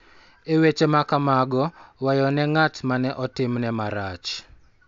E weche ma kamago, weyo ne ng�at ma ne otimne marach .